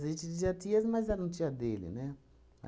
A gente dizia tias, mas eram tia dele, né?